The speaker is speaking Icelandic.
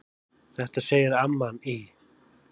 Þetta segir amman í